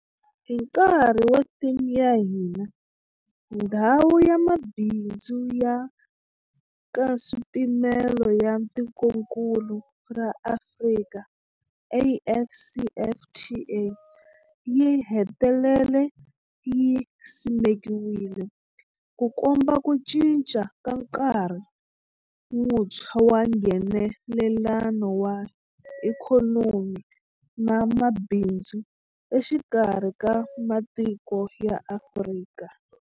Hi nkarhi wa theme ya hina, Ndhawu ya Mabindzu ya Nkaswipimelo ya Tikokulu ra Afrika, AfCFTA, yi hetelele yi simekiwile, Ku komba ku cinca ka nkarhi wuntshwa wa Nghenelelano wa ikhonomi na mabindzu exikarhi ka matiko ya Afrika.